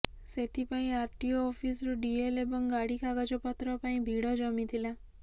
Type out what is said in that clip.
ସେଥିପାଇଁ R T O ଅଫିସରୁ DL ଏବଂ ଗାଡି କାଗଜ ପତ୍ର ପାଇଁ ଭିଡ଼ ଜମିଥିଲା